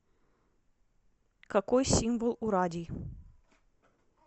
какой символ у радий